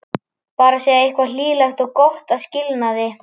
Bara segja eitthvað hlýlegt og gott að skilnaði.